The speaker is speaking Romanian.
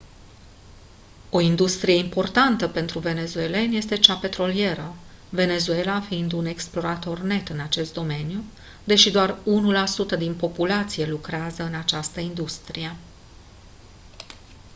o industrie importantă pentru venezuelani este cea petrolieră venezuela fiind un exportator net în acest domeniu deși doar 1% din populație lucrează în această industrie